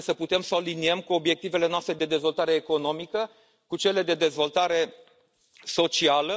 Trebuie să putem să o aliniem cu obiectivele noastre de dezvoltare economică, cu cele de dezvoltare socială.